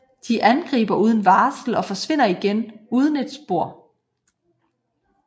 De angriber uden varsel og forsvinder igen uden et spor